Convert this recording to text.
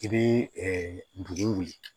I bɛ dugu wuli